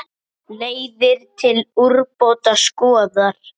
Leiðir til úrbóta skoðar.